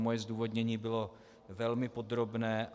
Moje zdůvodnění bylo velmi podrobné.